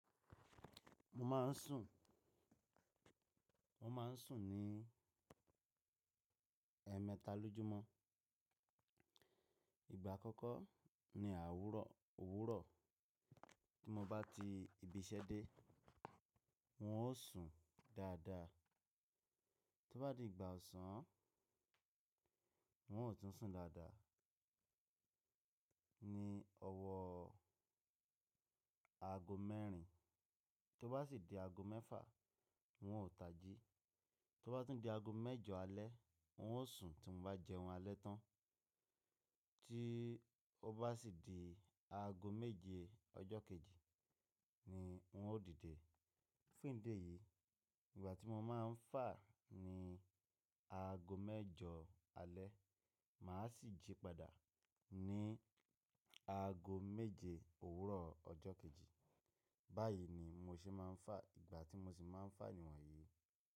Mo má n sùn, mo ma n sùn ní ẹmẹta lójúmọ́. Ìgbà àkọ́kọ́ ní àwúrọ̀, òwúrọ̀ tí mo bá ti ibi iṣẹ́ dé, n o sùn dáadáa. Tó bá di ìgbà òsán, wọn ò tún n sùn dáadáa, ní ọ̀wọ́ aago mẹ́rin. Tó bá sì di aago mẹ́fà, wun ò taji. Tó bá tún di aago mẹ́jọ alẹ́ wọn ó sùn tí mo bá jẹun alẹ́ tán. Tí ó bá sì di aago méje ọjọ́ kejì ni wun ó dìde. Fún ìdí èyí ìgbà tí mo má n fà ní aago mẹ́jọ alẹ́, màá sì jí padà ní aago méje òwúrọ̀ ọjọ́ kejì. Báyìí ni mo ṣe má n fà, ìgbà tí mo sì má n fà níwọ̀nyí.